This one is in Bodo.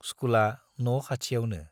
स्कुला न' खाथियावनो।